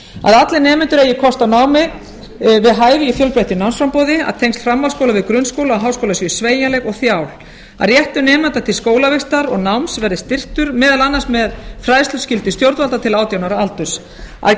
að allir nemendur eigi kost á námi við hæfi í fjölbreyttu námsframboði að tengd framhaldsskóla við grunnskóla háskóla sé sveigjanleg og þjál að réttur nemenda til skólavistar og náms verði styrktur meðal annars með fræðsluskyldu stjórnvalda til átján ára aldurs að